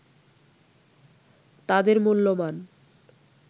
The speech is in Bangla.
তাদের মূল্যমান